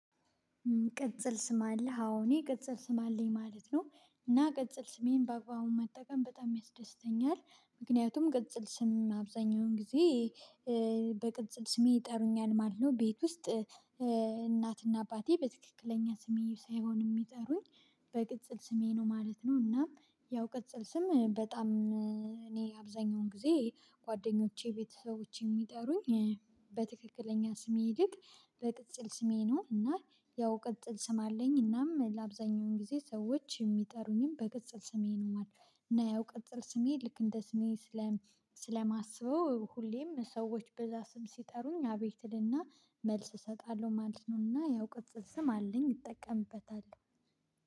ቅጽል ስም አለህ? አዎ እኔ ቅጽል ስም አለኝ ማለት ነው። እና ቅጽል ስሜን በአግባቡ መጠቀም በጣም ያስደስተኛል። ምክንያቱም ቅጽል ስም አብዛኛውን ጊዜ በቅጽል ስሜ ይጠሩኛል ማለት ነው። ቤት ውስጥ እናትና አባቴ በትክክለኛ ስሜ ሳይሆን የሚጠሩኝ በቅጽል ስሜ ነው ማለት ነው። እና ያው ቅጽል ስም በጣም እኔ አብዛኛውን ጊዜ ጓደኞቼ ቤተሰቦቼ የሚጠሩኝ በትክክለኛ ስሜ ይልቅ በቅጽል ስሜ ነው እና ያው ቅጽል ስም አለኝ እናም ለአብዛኛው ጊዜ ሰዎች የሚጠሩኝም በቅጽል ስሜ ነው ማለት ነው እና ያው ቅጥል ስሜ ልክ እንደ ስሜ ስለማስበው ሁሌም ሰዎች በዛ ስም ሲጠሩኝ አቤት እልና መልስ እሰጣለሁ ማለት ነውና ያው ቅጽል ስም አለኝ እጠቀምበታለሁ